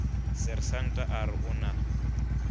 sersanta a re o na